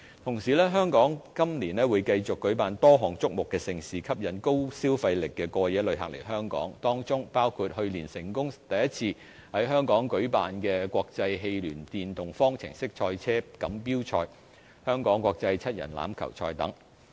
同時，香港今年會繼續舉辦多項矚目盛事，吸引高消費力的過夜旅客來港，當中包括去年成功首次在香港舉辦的國際汽聯電動方程式賽車錦標賽、香港國際七人欖球賽等。